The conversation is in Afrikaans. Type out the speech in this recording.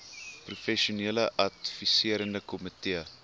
professionele adviserende komitee